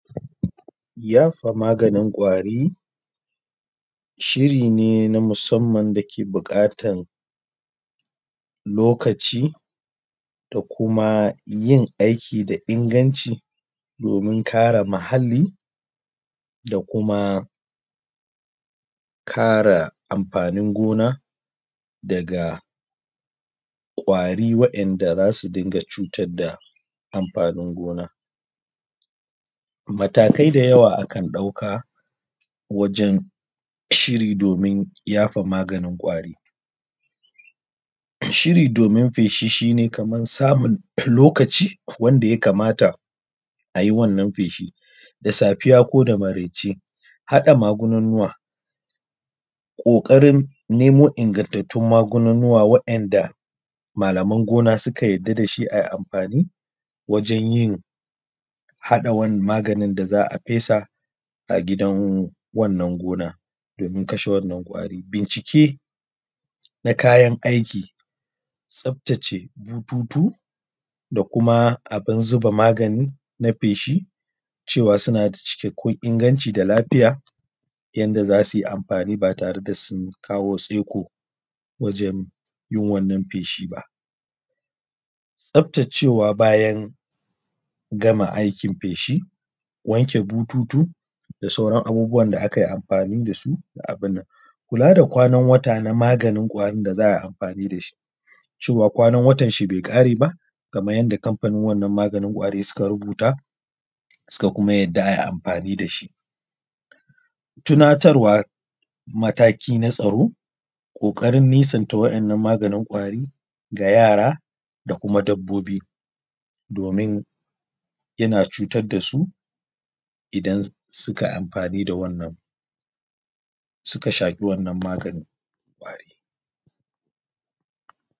Yafa maganin ƙwari, shiri ne na musamman da ke bukatan lokaci da kuma yin aiki da inganci domin kare muhali da kuma kare amfanin gona daga ƙwari waɗanɗa zasu dinga cutar da amfanin gona, matakai da yawa akan ɗauka wajen shiri domin yafa magani ƙwari, shiri domin feshi shi ne kamar samun lokaci wanda ya kamata ayi wannan feshin da safiya ko da maraice, haɗa magunguna kokarin nemo ingantantun magunguna waɗanɗa malaman gona suka yadda da shi ayi amfani wajen yin haɗa maganin da za a fesa a gidan wannan gonar domin kasha wannan ƙwari. Bincike na kayan aiki tsaftace bututu da kuma abun zuba magani na feshi cewa suna da cikan kun inganci da lafiya yadda zasu yi amfani ba tare da sun kawo tseko wajen yin wannan feshi ba, tsaftacewa bayan gama aikin feshi, wanke bututu da sauran abubuwa da akai amfani da su da abun nan, kula da kwanan wata na maganin ƙwari da za a yi amfani da shi cewa kwanan watan shi bai kare ba kamar yadda kamfanin wannan maganin ƙwari suka rubuta suka kuma yadda ayi amfani da shi, tunatarwa matake na tsaro, kokarin nisanta waɗannan maganin ƙwari ga yara da kuma dabbobi domin yana cutar da su idan sukai amfani da wannan, suka shaki wannan maganin ƙwari.